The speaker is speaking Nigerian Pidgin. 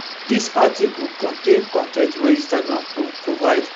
dis article contain con ten t wey instagram provide